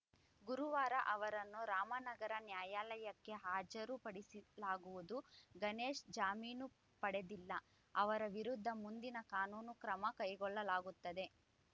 ಗುರುವಾರ ಅವರನ್ನು ರಾಮನಗರ ನ್ಯಾಯಾಲಯಕ್ಕೆ ಹಾಜರುಪಡಿಸಲಾಗುವುದು ಗಣೇಶ್‌ ಜಾಮೀನು ಪಡೆದಿಲ್ಲ ಅವರ ವಿರುದ್ಧ ಮುಂದಿನ ಕಾನೂನು ಕ್ರಮ ಕೈಗೊಳ್ಳಲಾಗುತ್ತದೆ